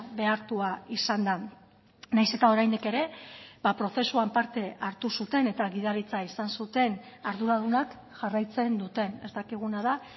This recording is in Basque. behartua izan da nahiz eta oraindik ere prozesuan parte hartu zuten eta gidaritza izan zuten arduradunak jarraitzen duten ez dakiguna da